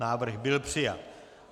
Návrh byl přijat.